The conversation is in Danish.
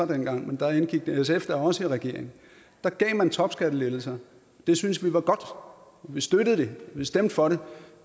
dengang men da indgik sf da også i regeringen da gav man topskattelettelser det syntes vi var godt og vi støttede det og stemte for det